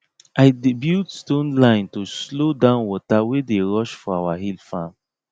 i dey build stone line to slow down water wey dey rush for our hill farm